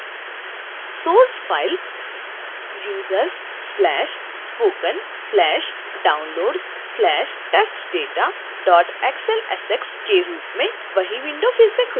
source file c: \users\spoken\downloads\testdata xlsx के रूप में वही window फिर से खुलता है